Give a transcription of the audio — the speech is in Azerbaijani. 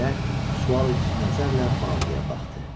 Bahirə sualedici nəzərlə Mauqliyə baxdı.